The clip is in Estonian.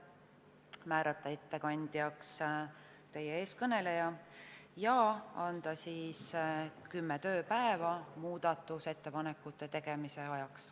Komisjon otsustas määrata ettekandjaks teie ees kõneleja ja anda kümme tööpäeva muudatusettepanekute tegemise ajaks.